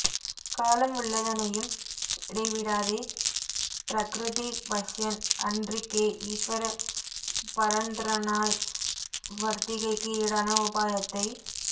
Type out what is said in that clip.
காலம் உள்ளதனையும் இடைவிடாதே ப்ரக்ருதி வஸ்யன் அன்றிக்கே ஈஸ்வர பரதந்த்ரனாய் வர்த்திகைக்கு ஈடான உபாயத்தை